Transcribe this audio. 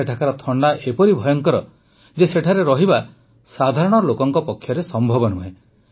ସେଠାକାର ଥଣ୍ଡା ଏପରି ଭୟଙ୍କର ଯେ ସେଠାରେ ରହିବା ସାଧାରଣ ଲୋକଙ୍କ ପକ୍ଷରେ ସମ୍ଭବ ନୁହେଁ